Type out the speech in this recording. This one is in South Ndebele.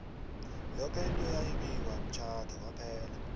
yoke into yayi bikwa emtjhade kwaphela